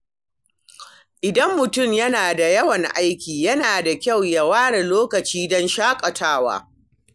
Idan mutum yana da yawan aiki, yana da kyau ya ware lokaci don shaƙatawa.